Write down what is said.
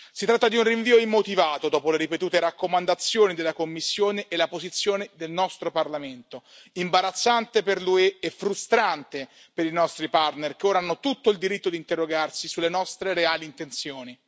Si tratta di un rinvio immotivato dopo le ripetute raccomandazioni della Commissione e la posizione del nostro Parlamento, imbarazzante per l'UE e frustrante per i nostri partner che ora hanno tutto il diritto di interrogarsi sulle nostre reali intenzioni.